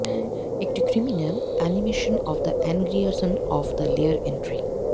একটি criminal animation of the ingression of the layer entry